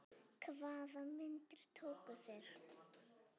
Hvaða myndir tóku þeir?